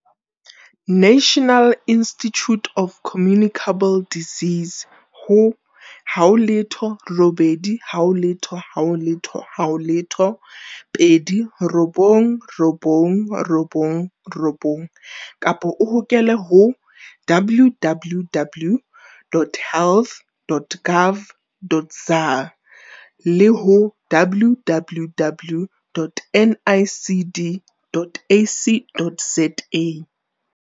National Institute of Communicable Disease ho 0800 029 999 kapa o hokele ho www.health.gov.za le ho www.nicd.ac.za